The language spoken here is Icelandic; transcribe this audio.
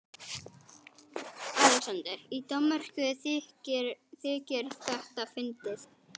ALEXANDER: Í Danmörku þykir þetta fyndið!